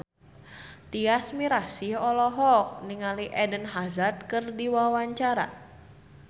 Tyas Mirasih olohok ningali Eden Hazard keur diwawancara